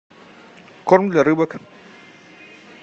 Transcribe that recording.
корм для рыбок